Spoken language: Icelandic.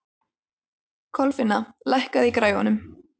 Kolfinna, lækkaðu í græjunum.